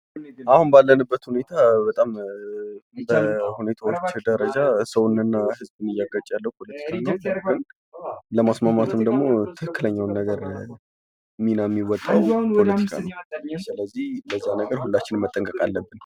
አሁን ባለንበት ሁኔታ በጣም በሁኔታዎች ደረጃ ሰውንና ህዝብን እያጋጨ ያለው ፖለቲካ ነው ። ።ለማስማማትም ደግሞ ትክክለኛው ምን የሚወጣው ፖለቲካ ነው ለዚያ ነገር ሁላችንም መጠንቀቅ አለብን ።